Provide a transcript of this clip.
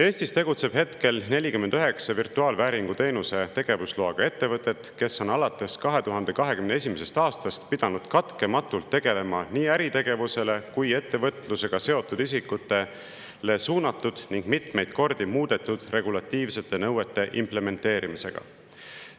Eestis tegutseb hetkel 49 virtuaalvääringuteenuse tegevusloaga ettevõtet, kes on alates 2021. aastast pidanud katkematult tegelema nii äritegevusele kui ettevõtlusega seotud isikutele suunatud ning mitmeid kordi muudetud regulatiivsete nõuete implementeerimisega.